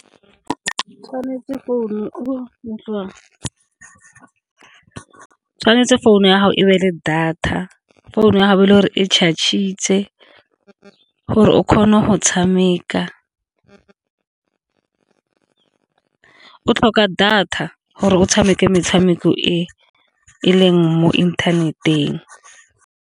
Tshwanetse founu ya gago e be le data, founu ya gago e le gore e . Gore o kgona go tshameka o tlhoka data gore o tshameke metshameko e, e leng mo inthaneteng.